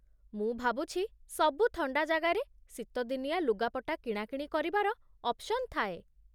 ମୁଁ ଭାବୁଛି ସବୁ ଥଣ୍ଡା ଜାଗାରେ ଶୀତଦିନିଆ ଲୁଗାପଟା କିଣାକିଣି କରିବାର ଅପ୍ସନ୍ ଥାଏ ।